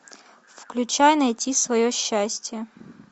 включай найти свое счастье